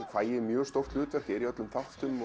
fæ ég mjög stórt hlutverk er í öllum þáttum